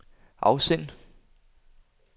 afsend